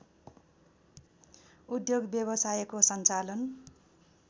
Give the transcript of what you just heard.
उद्योग व्यवसायको सञ्चालन